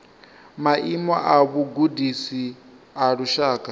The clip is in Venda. maimo a vhugudisi a lushaka